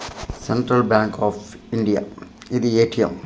Central Bank of India ఇది ATM .